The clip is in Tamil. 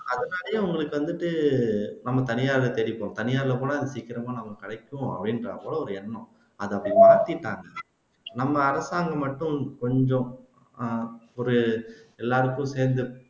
அதனாலேயே உங்களுக்கு வந்துட்டு நம்ம தனியாரை தேடி போறோம் தனியார்ல போனா சீக்கிரமா நமக்கு கிடைக்கும் அப்படின்றா போல ஒரு எண்ணம் அதை அப்படி மாத்திருக்காங்க நம்ம அரசாங்கம் மட்டும் கொஞ்சம் ஒரு அஹ் எல்லாருக்கும் தேர்ந்தெடுக்க